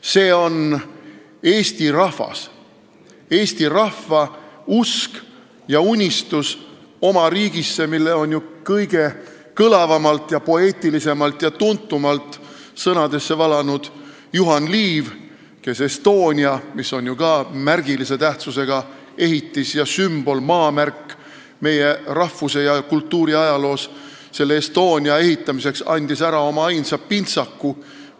See on Eesti rahvas, Eesti rahva usk ja unistus oma riigist, mille on ju kõige kõlavamalt, poeetilisemalt ja tuntumalt sõnadesse valanud Juhan Liiv, kes andis Estonia teatri – märgilise tähtsusega ehitise ja sümboli, meie rahvuse ja kultuuriajaloo maamärgi – ehitamiseks ära oma ainsa pintsaku.